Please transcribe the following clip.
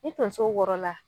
Ni tonso wɔrɔla